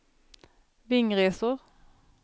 Vingresor